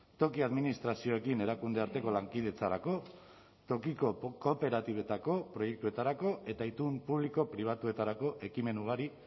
toki administrazioekin erakundearteko lankidetzarako tokiko kooperatibetako proiektuetarako eta itun publiko pribatuetarako ekimen ugari